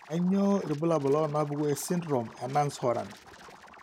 Kainyio irbulabul onaapuku esindirom eNance Horan?